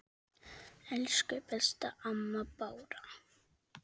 Elsku besta amma Bára.